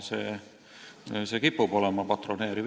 See kipub olema patroneeriv.